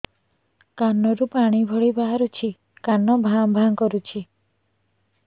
କାନ ରୁ ପାଣି ଭଳି ବାହାରୁଛି କାନ ଭାଁ ଭାଁ କରୁଛି